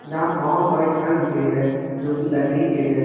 यहां बहोत सारे घर दिख रहे हैं जो की लकड़ी के हैं।